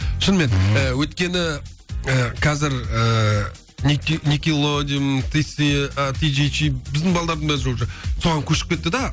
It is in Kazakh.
шынымен ы өйткені ы қазір ыыы никелодиум ти си ы ти жи жи біздің балалардың бәрі уже соған көшіп кетті де